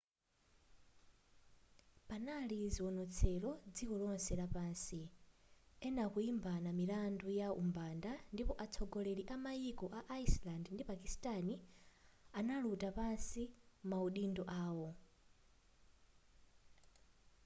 panali zionetselo dziko lonse lapansi ena kuimbana milandu ya umbanda ndipo atsogoleri amaiko a iceland ndi pakistani anatula pansi maudindo awo